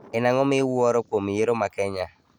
En ang'o miwuoro kuom yiero ma Kenya